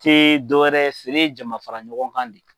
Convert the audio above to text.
Se dɔ wɛrɛ ye feere jama fara ɲɔgɔn kan de ye.